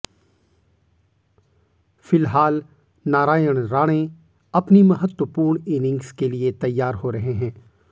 फिलहाल नारायण राणे अपनी महत्त्वपूर्ण इनिंग्ज के लिए तैयार हो रहे हैं